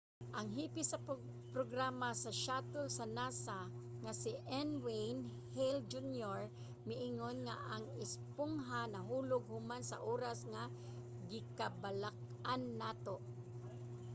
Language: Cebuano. ang hepe sa programa sa shuttle sa nasa nga si n. wayne hale jr. miingon nga ang espongha nahulog human sa oras nga gikabalak-an nato.